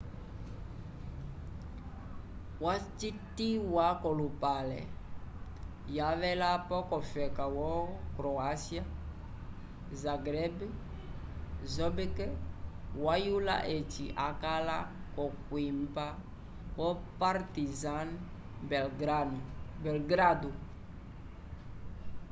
wacitiwa k'olupale yavelapo yofeka wo croacia zagreb bobek wayula eci akala l'okwimba vo partizan belgrado